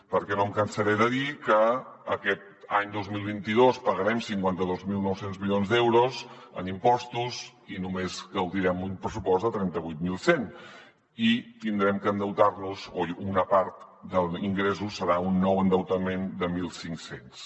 perquè no em cansaré de dir que aquest any dos mil vint dos pagarem cinquanta dos mil nou cents milions d’euros en impostos i només gaudirem un pressupost de trenta vuit mil cent i haurem d’endeutar nos o una part dels ingressos serà un nou endeutament de mil cinc cents